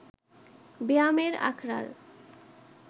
ব্যায়ামের আখড়ার